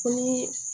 Ko ni